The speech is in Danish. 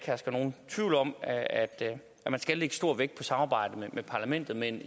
herske nogen tvivl om at man skal lægge stor vægt på samarbejdet med parlamentet men